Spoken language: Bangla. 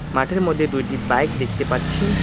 মাঠের মধ্যে দুইটি বাইক দেখতে পাচ্ছি।